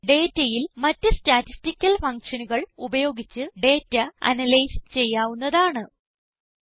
ഇത് പോലെ ഡേറ്റയിൽ മറ്റ് സ്റ്റാറ്റിസ്റ്റിക്കൽ functionകൾ ഉപയോഗിച്ച് ഡേറ്റ അനലൈസ് ചെയ്യാവുന്നതാണ്